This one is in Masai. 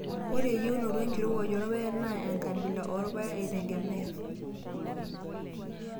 Ore eyieunoto enkirowuaj oorpaek naa enkabila oorpaek eitegemea.